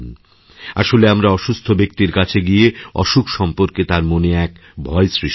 আসলেআমরা অসুস্থ ব্যক্তির কাছে গিয়ে অসুখ সম্পর্কে তাঁর মনে এক ভয় সৃষ্টি করি